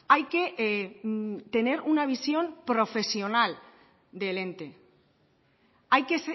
hay que tener una visión profesional del ente hay que